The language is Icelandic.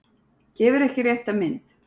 Gefur ekki rétta mynd